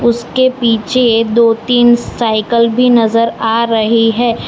इसके पीछे दो तीन साइकल भी नजर आ रही है।